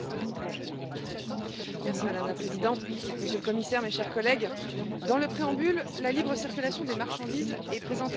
Madame la Présidente, Monsieur le Commissaire, mes chers collègues, dans le préambule, la libre circulation des marchandises est présentée comme une liberté fondamentale.